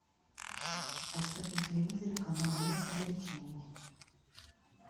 поставь на телевизоре канал мир увлечений